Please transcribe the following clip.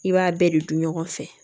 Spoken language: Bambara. I b'a bɛɛ de dun ɲɔgɔn fɛ